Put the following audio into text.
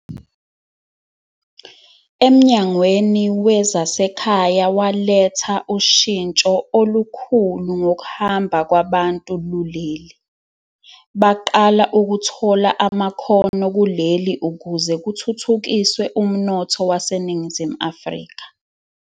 EMnyangweni wezaseKhaya waletha ushintsho olukhulu ngokuhamba kwabantu luleli, baqala ukuthola amakhono kuleli ukuze kuthuthukiswe umnotho waseNingizimu Afrika.